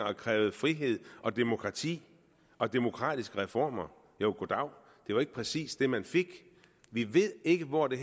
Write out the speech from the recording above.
og krævede frihed og demokrati og demokratiske reformer jo goddav det var ikke præcis det man fik vi ved ikke hvor det